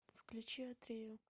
включи атрею